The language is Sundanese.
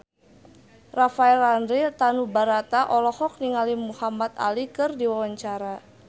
Rafael Landry Tanubrata olohok ningali Muhamad Ali keur diwawancara